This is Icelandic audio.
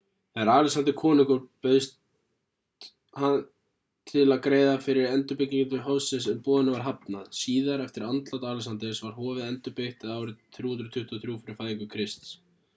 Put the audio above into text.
þegar alexander var konungur bauðst hann til að greiða fyrir endurbyggingu hofsins en boðinu var hafnað síðar eftir andlát alexanders var hofið endurbyggt eða árið 323 fyrir fæðingu krists